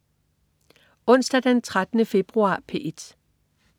Onsdag den 13. februar - P1: